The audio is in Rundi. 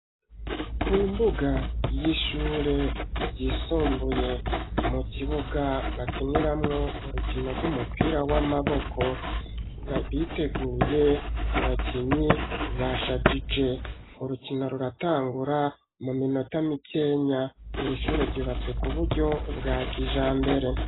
Ku mbuga y'ishure ryisumbuye mu kibuga bakiniramwo urukino rw'umupira w'amaboko ,biteguye abakinyi bashajije ,urukino ruratangura mu minota mikenya ,iri shure ryubatse ku buryo bwa kijambere.